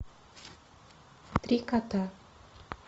три кота